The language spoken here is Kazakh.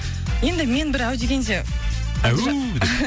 енді мен бір әу дегенде әу деп